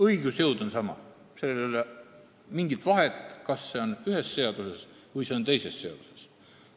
Õigusjõud on sama, ei ole mingit vahet, kas see on ühes seaduses või teises seaduses.